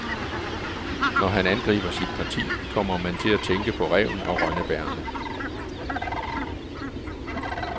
Når han angriber sit parti, kommer man til at tænke på ræven og rønnebærrene.